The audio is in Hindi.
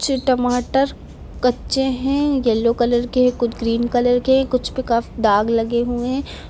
टमाटर कच्चे हैं येलो कलर के कुछ ग्रीन कलर के कुछ पे दाग लगे हुए हैं।